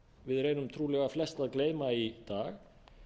við reynum trúlega flest að gleyma í dag